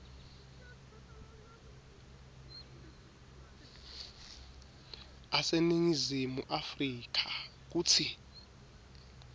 aseningizimu afrika kutsi